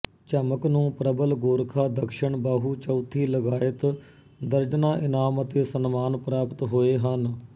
ਝਮਕ ਨੂੰ ਪ੍ਰਬਲ ਗੋਰਖਾ ਦਕਸ਼ਣ ਬਾਹੂ ਚੌਥੀ ਲਗਾਇਤ ਦਰਜਨਾਂ ਇਨਾਮ ਅਤੇ ਸਨਮਾਨ ਪ੍ਰਾਪਤ ਹੋਏ ਹਨ